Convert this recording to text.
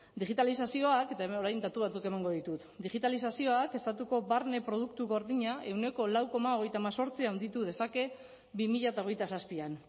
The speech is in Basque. digitalizazioak eta hemen orain datu batzuk emango ditut digitalizazioak estatuko barne produktu gordina ehuneko lau koma hogeita hemezortzi handitu dezake bi mila hogeita zazpian